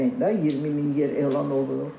Cəmi də 20 min yer elan olunub.